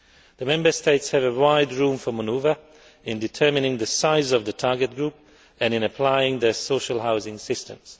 The Member States have wide scope for manoeuvre in determining the size of the target group and in applying the social housing systems.